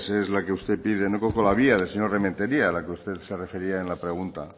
es la que usted pide no conozco la vía del señor remetería al que usted se refería en la pregunta